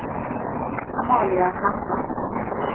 Amalia Hammar